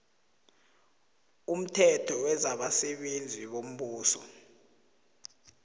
umthetho wezabasebenzi bombuso